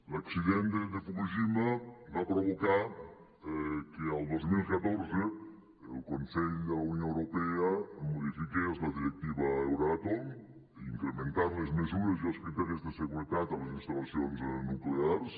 l’accident de fukushima va provocar que el dos mil catorze el consell de la unió europea modifiqués la directiva d’euratom incrementant les mesures i els criteris de seguretat a les instal·lacions nuclears